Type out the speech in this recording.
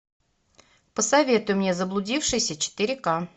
посоветуй мне заблудившийся четыре ка